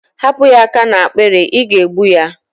Hapụ ya aka n'akpiri, ị ga-egbu ya!